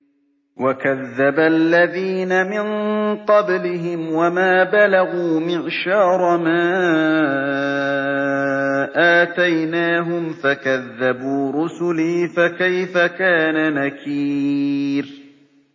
وَكَذَّبَ الَّذِينَ مِن قَبْلِهِمْ وَمَا بَلَغُوا مِعْشَارَ مَا آتَيْنَاهُمْ فَكَذَّبُوا رُسُلِي ۖ فَكَيْفَ كَانَ نَكِيرِ